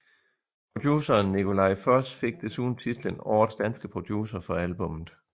Produceren Nikolaj Foss fik desuden titlen Årets danske producer for albummet